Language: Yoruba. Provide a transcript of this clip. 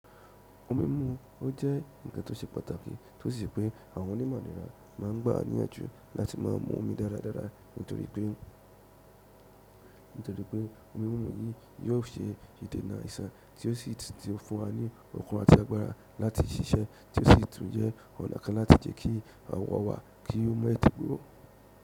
Omí mimu, ó jẹ́ ǹkan tó ṣe pàtàkì tó sì jẹ pé àwọn onímọ̀ ìlera máa ń gba wà níyànjú láti máa mọ mu omi dáradára nítorí pé omi wọ̀nyí yóò ṣe ìdènà aiṣàn tí ó sì ti fún wa ní okun atí agbára láti ṣiṣẹ́ tí ó sì tún jẹ́ ọ̀nà kan láti jẹ́ kí àwọ̀ wa kí ó mọ́ ètí gbó.